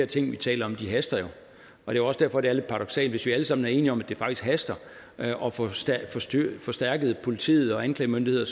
ting vi taler om haster jo det er også derfor det er lidt paradoksalt hvis vi alle sammen er enige om at det faktisk haster at få forstærket politiet og anklagemyndigheden